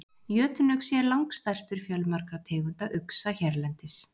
Jötunuxi er langstærstur fjölmargra tegunda uxa hérlendis.